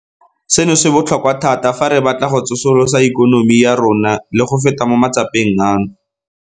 Seno se botlhokwa thata fa re batla go tsosolosa ikonomi ya rona le go feta mo matsapeng ano.